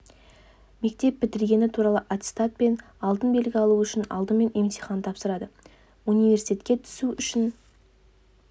мектеп бітіргені туралы аттестат пен алтын белгі алу үшін алдымен емтихан тапсырады университетке түсу үшін